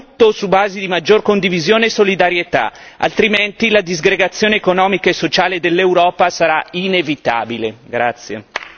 Ridiscutiamo tutto su basi di maggior condivisione e solidarietà, altrimenti la disgregazione economica e sociale dell'Europa sarà inevitabile.